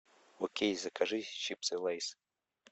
окей закажи чипсы лейс